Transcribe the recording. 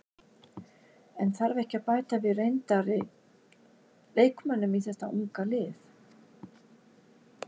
En þarf ekki að bæta við reyndar leikmönnum í þeta unga lið?